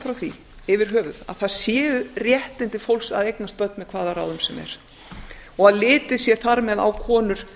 frá því yfir höfuð að það séu réttindi fólks að eignast börn með hvaða ráðum sem er og að litið sé þar með á konur